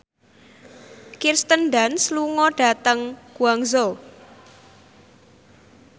Kirsten Dunst lunga dhateng Guangzhou